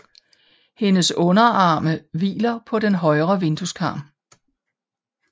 Hendes underarme hviler på den høje vindueskarm